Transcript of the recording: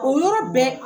O yɔrɔ bɛ